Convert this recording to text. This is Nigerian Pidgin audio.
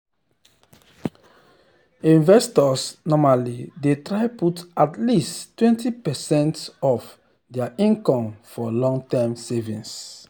investors normally dey try put at least 20 percent of dir income for long-term savings. um